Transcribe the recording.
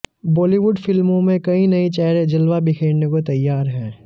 बॉलीवुड फिल्मों में कई नए चेहरे जलवा बिखेरने को तैयार हैं